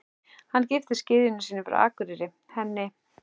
Hann giftist gyðjunni sinni frá Akureyri, henni